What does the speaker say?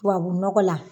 Tubabu nɔgɔ la